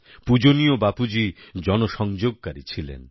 পূজনীয় বাপুজী জনসংযোগকারী ছিলেন